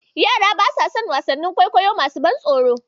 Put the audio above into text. Yara basa son wasannin kwaikwayo masu ban tsoro.